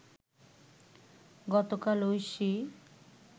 গতকাল ঐশী